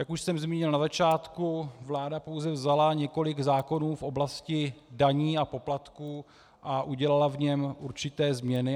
Jak už jsem zmínil na začátku, vláda pouze vzala několik zákonů v oblasti daní a poplatků a udělala v něm určité změny.